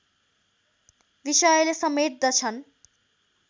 विषयले समेट्दछन्